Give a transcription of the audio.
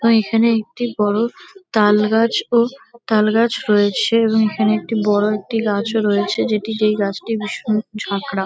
ওইখানে একটি বড়ো তালগাছ ও তালগাছ রয়েছে এবং এখানে একটি বড়ো একটি গাছও রয়েছে যেটি যেই গাছটি ভীষণ ঝাঁকড়া।